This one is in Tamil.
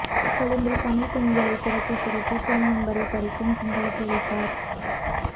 கொழும்பில் தமிழ் பெண்களை துரத்தி துரத்தி போன் நம்பரை பறிக்கும் சிங்கள பொலிசார்